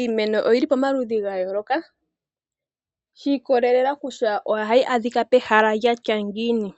Iimeno oyili pomaludhi gayooloka, shiikololela kutya ohayi adhika pehala lyatya ngiini.